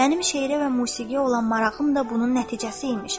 Mənim şeirə və musiqiyə olan marağım da bunun nəticəsi imiş.